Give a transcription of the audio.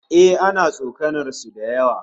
Eh, ana tsokanar su da yawa